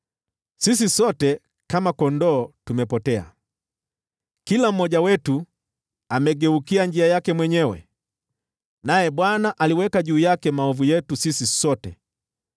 Sisi sote, kama kondoo, tumepotea, kila mmoja wetu amegeukia njia yake mwenyewe, naye Bwana aliweka juu yake maovu yetu sisi sote.